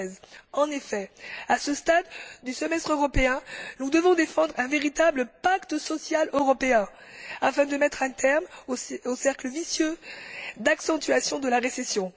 2013. En effet, à ce stade du semestre européen, nous devons défendre un véritable pacte social européen afin de mettre un terme au cercle vicieux d'accentuation de la récession.